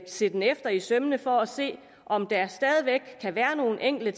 se den efter i sømmene for at se om der stadig væk kan være nogle enkelte